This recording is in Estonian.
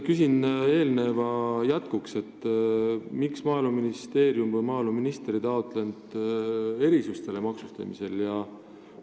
Küsin eelneva jätkuks, miks Maaeluministeerium või maaeluminister ei taotlenud maksustamise erisust.